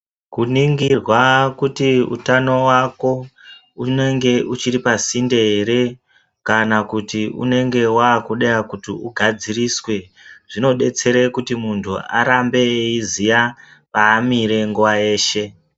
Kuningirwa kuti utano wako unenge uchiri pa sinde ere kana kuti unonge wakuda kuti u gadziriswe zvino detsera kuti muntu arambe eyiziya paamire nguva yeshe.